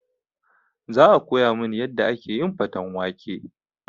Za a koya min yadda ake faten wake